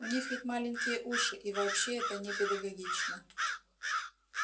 у них ведь маленькие уши и вообще это непедагогично